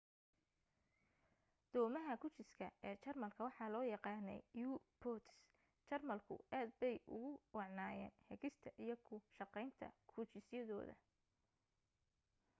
doomaha gujiska ee jarmalka waxa loo yaqaanay u-boats jarmalku aad bay ugu wacnaayeen hagista iyo ku shaqaynta gujisyadooda